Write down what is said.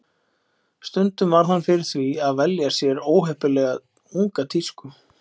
Stundum varð hann fyrir því að velja sér óheppilega unga tísku.